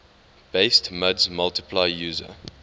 based muds multi user